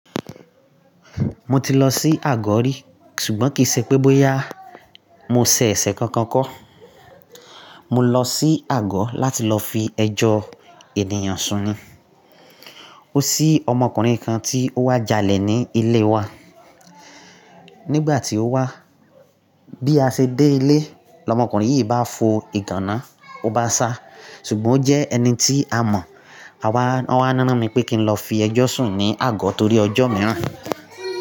Mo ti lọ sí àgọ̀ rí ṣùgbọ́n kì í ṣe pé bóyá mo ṣe ẹ̀ṣẹ̀ kankan kọ́. Mo lọ sí àgọ̀ láti lọ fi ẹjọ́ ènìyàn sún ni. Ó ṣí ọmọkùnrin kan tí ó wá jalè ní ilé wa. Nígbà tí ó wá, bí a ṣe dé ilé, ọmọkùnrin yìí bá fo ìgànná, ó bá sá. Ṣùgbọ́n ó jẹ́ ẹni tí a mọ̀. A wa, wọn wá rán mi pé kí n lọ fi ẹjọ́ sùn ní àgọ̀ torí ọjọ́ mìíràn.